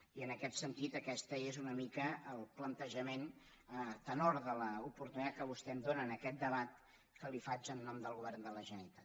i en aquest sentit aquest és una mica el plantejament a tenor de l’oportunitat que vostè em dóna en aquest debat que li faig en nom del govern de la generalitat